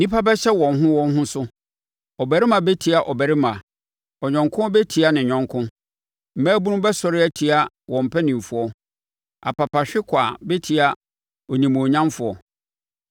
Nnipa bɛhyɛ wɔn ho wɔn ho so, ɔbarima bɛtia ɔbarima, ɔyɔnko bɛtia ne yɔnko. Mmabunu bɛsɔre atia wɔn mpanimfoɔ, apapahwekwaa bɛtia onimuonyamfoɔ.